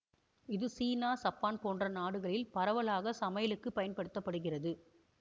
இது சீனா சப்பான் போன்ற நாடுகளில் பரவலாக சமையலுக்கு பயன்படுத்த படுகிறது